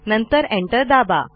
नंतर एंटर दाबा